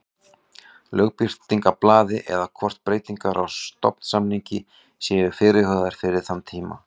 Lögbirtingablaði eða hvort breytingar á stofnsamningi séu fyrirhugaðar fyrir þann tíma.